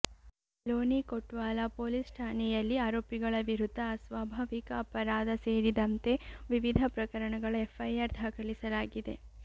ಲೋನಿ ಕೊಟ್ವಾಲ ಪೊಲೀಸ್ ಠಾನೆಯಲ್ಲಿ ಆರೋಪಿಗಳ ವಿರುದ್ಧ ಅಸ್ವಾಭಾವಿಕ ಅಪರಾಧ ಸೇರಿದಂತೆ ವಿವಿಧ ಪ್ರಕರಣಗಳ ಎಫ್ಐಆರ್ ದಾಖಲಿಸಲಾಗಿದೆ